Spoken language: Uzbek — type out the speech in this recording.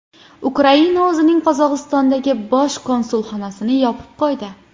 Ukraina o‘zining Qozog‘istondagi bosh konsulxonasini yopib qo‘ydi.